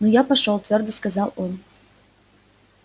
ну я пошёл твёрдо сказал он